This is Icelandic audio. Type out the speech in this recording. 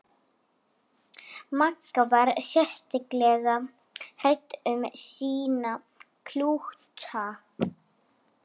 Öll fjölskyldan sefur í einni flatsæng á stofugólfinu.